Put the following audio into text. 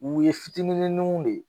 U ye fitininninw de